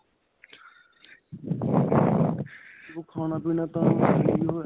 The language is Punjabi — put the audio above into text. ਦੇਖੋ ਖਾਣਾ ਪੀਣਾ ਤਾਂ ਸਹੀਂ ਉਹ ਹੈ